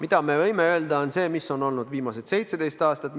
Aga me võime öelda, mis on olnud viimased 17 aastat.